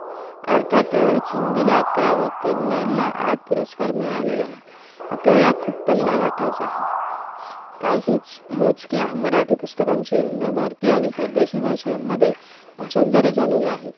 अर्थातच हिंदीला अकरा व कन्नडला आठ पुरस्कार मिळालेले आहेत आपल्याला खूप पल्ला घाटायचा आहे काहीच मोजक्या मराठी पुस्तकांचे नभारती आणि परदेशी भाषांमध्ये भाषांतरे झालेले आहेत